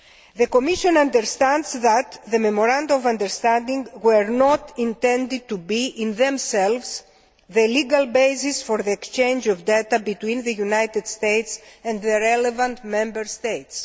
The Commission understands that the Memoranda of Understanding were not intended to be, in themselves, the legal basis for the exchange of data between the United States and the relevant Member States.